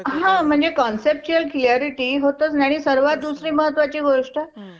Ok म्हणजे अं special room चे charges सोडून बाकी सगळं योजने through होऊन जाईल.